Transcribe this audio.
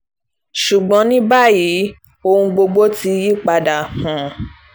ṣùgbọ́n ní báyìí ohun gbogbo ti yípadà um